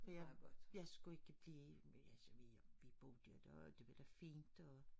Ja jeg skulle ikke blive men altså vi vi boede jo da og det var fint og